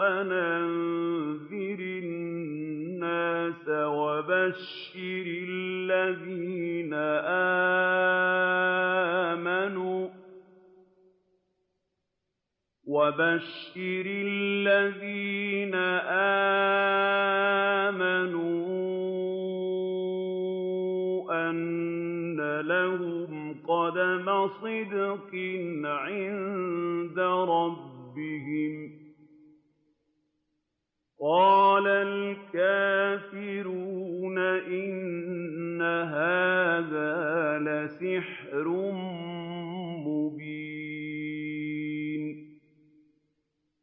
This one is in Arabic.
أَنْ أَنذِرِ النَّاسَ وَبَشِّرِ الَّذِينَ آمَنُوا أَنَّ لَهُمْ قَدَمَ صِدْقٍ عِندَ رَبِّهِمْ ۗ قَالَ الْكَافِرُونَ إِنَّ هَٰذَا لَسَاحِرٌ مُّبِينٌ